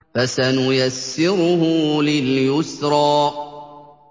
فَسَنُيَسِّرُهُ لِلْيُسْرَىٰ